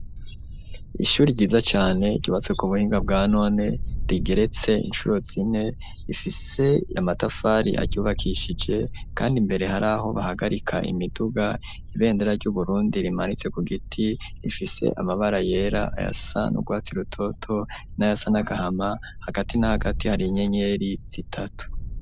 Ishuri ryiza cane ryubatse ku buhinga bwa none, rigeretse incuro zine, rifise amatafari aryubakishije, kandi imbere hari aho bahagarika imiduga; ibendera ry'Uburundi rimanitse ku giti, rifise amabara yera, ayasa n’urwatsi rutoto n'ayasa n'agahama; hagati na hagati hari inyenyeri zitatu.